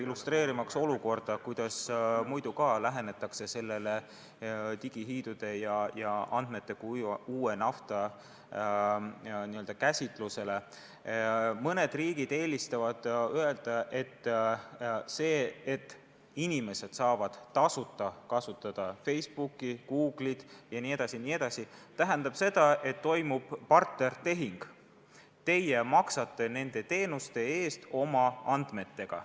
Illustreerimaks olukorda, kuidas lähenetakse digihiidude ja andmete kui uue nafta käsitusele, märgin, et mõned riigid eelistavad öelda, et see, et inimesed saavad tasuta kasutada Facebooki, Google'it jne, tähendab seda, et toimub partnertehing: teie maksate nende teenuste eest oma andmetega.